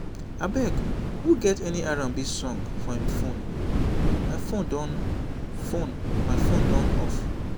abeg who get any r&b song for im phone?my phone done phone?my phone done off